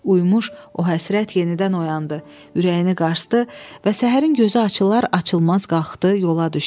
Uymuş o həsrət yenidən oyandı, ürəyini qarsdı və səhərin gözü açılar açılmaz qalxdı, yola düşdü.